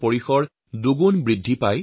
আমি সকলো এই ক্ষেত্ৰত বদ্ধপৰিকৰ